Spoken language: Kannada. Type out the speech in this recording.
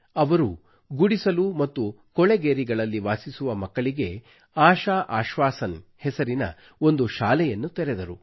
ಅವರು ಗುಡಿಸಲು ಮತ್ತು ಕೊಳೆಗೇರಿಗಳಲ್ಲಿ ವಾಸಿಸುವ ಮಕ್ಕಳಿಗೆ ಆಶಾ ಆಶ್ವಾಸನ್ ಹೆಸರಿನ ಒಂದು ಶಾಲೆಯನ್ನು ತೆರೆದರು